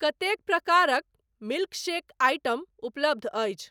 कतेक प्रकारक milk shake item उपलब्ध अछि?